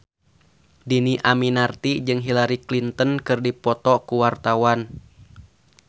Dhini Aminarti jeung Hillary Clinton keur dipoto ku wartawan